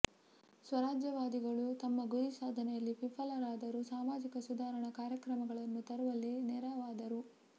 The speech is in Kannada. ಸ್ವರಾಜ್ಯವಾದಿಗಳು ತಮ್ಮ ಗುರಿ ಸಾಧನೆಯಲ್ಲಿ ವಿಫಲರಾದರೂ ಸಾಮಾಜಿಕ ಸುಧಾರಣ ಕಾರ್ಯಕ್ರಮಗಳನ್ನು ತರುವಲ್ಲಿ ನೆರವಾದರು